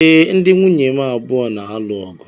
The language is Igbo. Ee, ndi nwụnye m abụọ na-alụ ọgụ.